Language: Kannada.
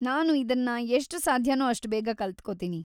ನಾನು ಇದನ್ನ ಎಷ್ಟು ಸಾಧ್ಯನೋ ಅಷ್ಟು ಬೇಗ ಕಲ್ತ್ಕೋತೀನಿ.